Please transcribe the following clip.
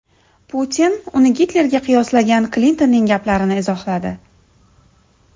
Putin uni Gitlerga qiyoslagan Klintonning gaplarini izohladi.